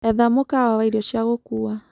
Etha mũkawa wa ĩrĩo cĩa gũkũwa